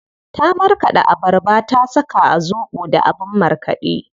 Ta marƙaɗa abarbar da ta saka a zobo da abin markaɗe.